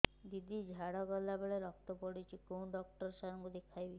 ଦିଦି ଝାଡ଼ା କଲା ବେଳେ ରକ୍ତ ପଡୁଛି କଉଁ ଡକ୍ଟର ସାର କୁ ଦଖାଇବି